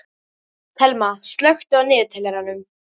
Thelma, slökktu á niðurteljaranum.